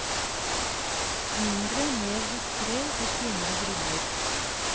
Mindre, mer diskret og finere briller.